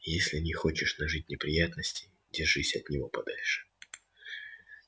если не хочешь нажить неприятностей держись от него подальше